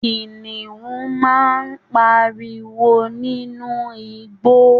Kìnìún máa n páríwó nínú igbó